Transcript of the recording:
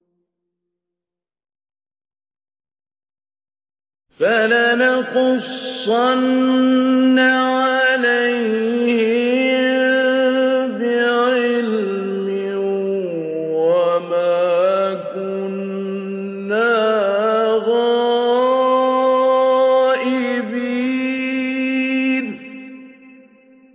فَلَنَقُصَّنَّ عَلَيْهِم بِعِلْمٍ ۖ وَمَا كُنَّا غَائِبِينَ